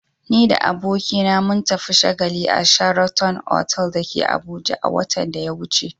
Ni da abokina mun tafi shagali a "sheraton" otal da ke Abuja a watan da ya wuce.